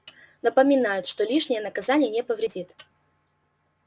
напоминают что лишнее наказание не повредит